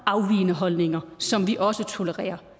afvigende holdninger som vi også tolererer